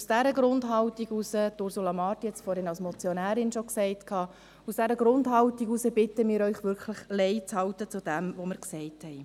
Aus dieser Grundhaltung heraus – Ursula Marti hat es vorhin als Motionärin schon gesagt – bitten wir Sie, wirklich leizuhalten bezüglich dem, was wir gesagt haben.